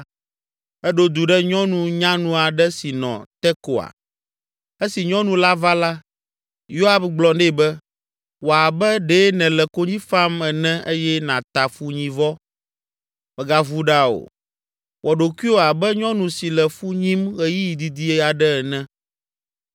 eɖo du ɖe nyɔnu nyanu aɖe si nɔ Tekoa. Esi nyɔnu la va la, Yoab gblɔ nɛ be, “Wɔ abe ɖe nèle konyi fam ene eye nàta funyivɔ. Mègavu ɖa o; wɔ ɖokuiwò abe nyɔnu si le fu nyim ɣeyiɣi didi aɖe ene.